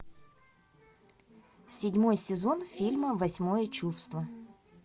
седьмой сезон фильма восьмое чувство